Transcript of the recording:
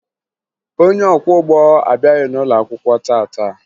Onye ọkwọụgbọ abịaghị n'ụlọakwụkwọ taa taa